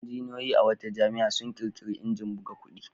Injiniyoyi a wata jami'a sun ƙirƙiri injin buga kuɗi.